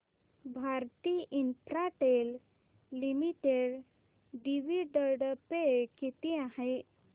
Bharti Infratel limited dividend pay किती आहे